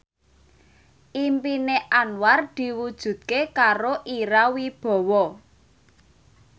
impine Anwar diwujudke karo Ira Wibowo